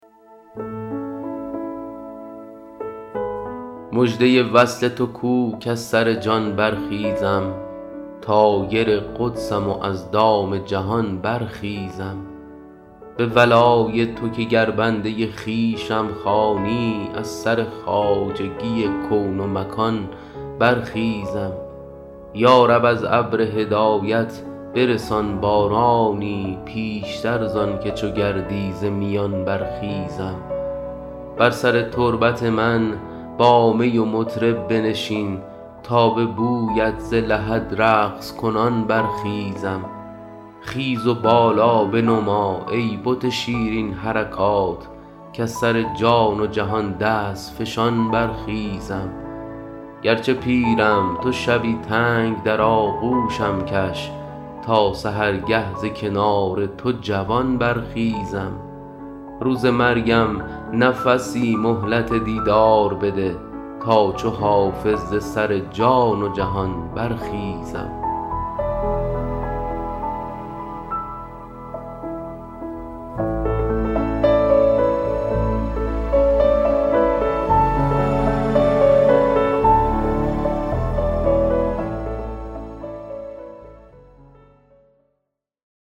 مژده وصل تو کو کز سر جان برخیزم طایر قدسم و از دام جهان برخیزم به ولای تو که گر بنده خویشم خوانی از سر خواجگی کون و مکان برخیزم یا رب از ابر هدایت برسان بارانی پیشتر زان که چو گردی ز میان برخیزم بر سر تربت من با می و مطرب بنشین تا به بویت ز لحد رقص کنان برخیزم خیز و بالا بنما ای بت شیرین حرکات کز سر جان و جهان دست فشان برخیزم گرچه پیرم تو شبی تنگ در آغوشم کش تا سحرگه ز کنار تو جوان برخیزم روز مرگم نفسی مهلت دیدار بده تا چو حافظ ز سر جان و جهان برخیزم